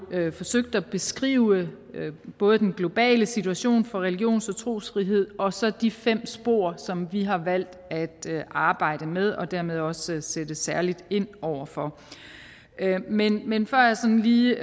forsøgt at beskrive både den globale situation for religions og trosfrihed og så de fem spor som vi har valgt at arbejde med og dermed også sætte særligt ind over for men men før jeg sådan lige